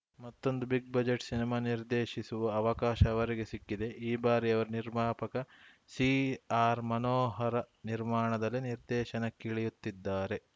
ಮತ್ತೊಂದು big budget cinema ನಿರ್ದೇಶಿಸುವ ಅವಕಾಶ ಅವರಿಗೆ ಸಿಕ್ಕಿದೆ ಈ ಬಾರಿ ಅವರು ನಿರ್ಮಾಪಕ ಸಿಆರ್‌ಮನೋಹರ್‌ ನಿರ್ಮಾಣದಲ್ಲಿ ನಿರ್ದೇಶನಕ್ಕಿಳಿಯುತ್ತಿದ್ದಾರೆ